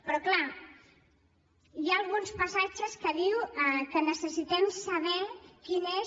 però clar hi ha alguns passatges en què diu que necessitem saber quin és